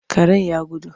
Karen ya gudu.